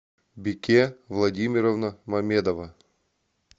бике владимировна мамедова